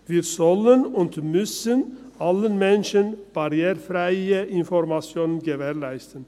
Wir und allen Menschen barrierefreie Informationen gewähren.